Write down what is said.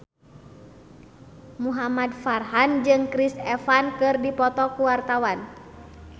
Muhamad Farhan jeung Chris Evans keur dipoto ku wartawan